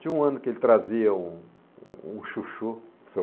Tinha um ano que ele trazia um um chuchu para o seu